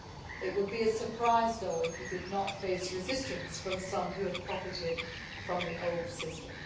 It would be a surprise, though, if he did not face resistance from some who have profited from the old system.